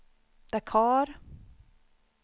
Dakar